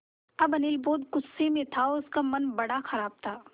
अब अनिल बहुत गु़स्से में था और उसका मन बड़ा ख़राब था